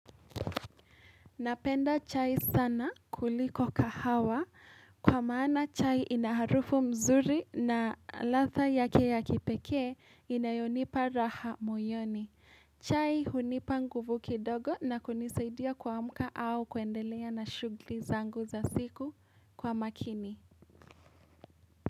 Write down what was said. Napenda chai sana kuliko kahawa kwa maana chai ina harufu nzuri na ladha yake ya kipekee inayonipa raha moyoni. Chai hunipa nguvu kidogo na kunisaidia kuamka au kuendelea na shugli zangu za siku kwa makini.